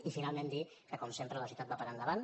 i finalment dir que com sempre la societat va per endavant